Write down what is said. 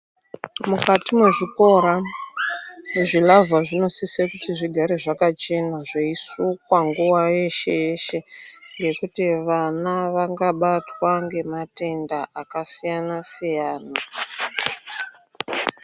Mukati me zvikora ne zvilavha zvinosise kuti zvigare zvakachena zveyi sukwa nguva yeshe yeshe ngekuti vana vanga batwa nge matenda aka siyana siyana.